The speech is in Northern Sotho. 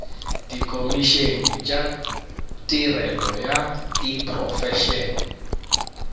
dikhomišene tša tirelo ya diprofense